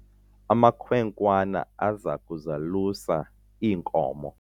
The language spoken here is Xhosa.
amakhwenkwana aza kuzalusa iinkomo